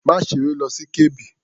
Má ṣeré lọ sí Kebbi.